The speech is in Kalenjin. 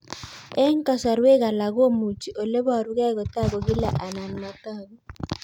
Eng' kasarwek alak komuchi ole parukei kotag'u kila anan matag'u